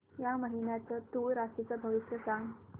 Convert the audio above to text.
या महिन्याचं तूळ राशीचं भविष्य सांग